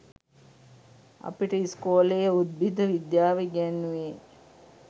අපිට ඉස්කෝලේ උද්භිද විද්‍යාව ඉගෙන්නුවේ